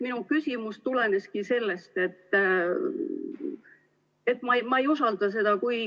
Minu küsimus tuleneski sellest, et ma ei usalda seda.